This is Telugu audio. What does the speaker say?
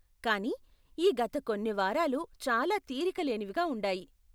కానీ, ఈ గత కొన్ని వారాలు చాలా తీరిక లేనివిగా ఉండాయి.